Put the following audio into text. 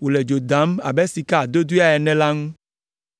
wole dzo dam abe sika adodea ene la ŋu.